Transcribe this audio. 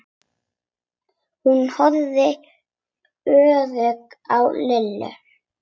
Hún horfði óörugg á Lillu.